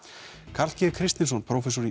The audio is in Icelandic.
Karl g Kristinsson prófessor í